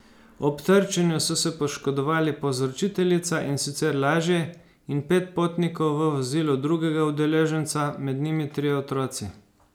Ob trčenju so se poškodovali povzročiteljica, in sicer lažje, in pet potnikov v vozilu drugega udeleženca, med njimi trije otroci.